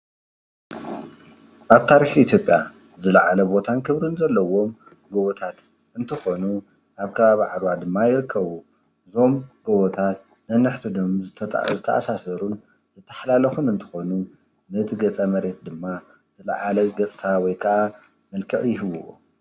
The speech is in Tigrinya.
ኣብ ታሪኽ ኢትዮጰያ ዝለዓለ ቦታን ክብርን ዘለዎ ጎቦታት እንትኾኑ ኣብ ከባቢ ዓድዋ ድማ ይርከቡ። እዞም ጎቦታት ነንሕድሕዶም ዝተኣሳሰሩ ዝተሓላለኹን እንትኾኑ ነቲ ገፀ-መሬት ድማ ዝለዓለ ገፀታ ወይ ካዓ መልክዕ ይህብዎ።